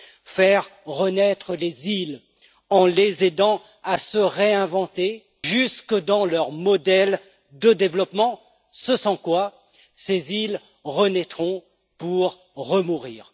Faire renaître les îles en les aidant à se réinventer jusque dans leur modèle de développement, ce sans quoi ces îles renaîtront pour remourir.